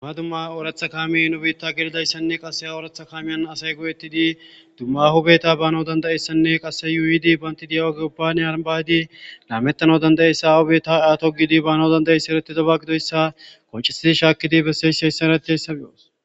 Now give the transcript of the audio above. duma dumma ooratha kaami nu biitta gelidayssanne qase ooratha kaamiyan asay go7ettidi dumma hubeta baanao dandayessanne qase yuidi bantidiya7agiopbane arabaydi laamettana danda7essa ahobeta aato gidi baanao danda7eysa ereti daba gidoyssa qoncisidi shaakidi besseyseyssarati hessabe7os